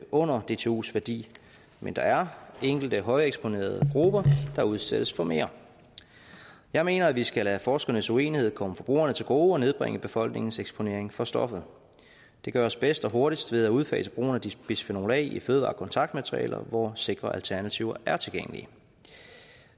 under dtus værdi men der er enkelte højeksponerede grupper der udsættes for mere jeg mener vi skal lade forskernes uenighed komme forbrugerne til gode og nedbringe befolkningens eksponering for stoffet det gøres bedst og hurtigst ved at udfase brugen af bisfenol a i fødevarekontaktmaterialer hvor sikre alternativer er tilgængelige